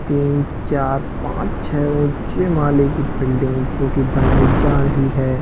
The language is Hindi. तीन चार पाँच छै ऊंचे माले की बिल्डिंग जो की बनाई जा रही है।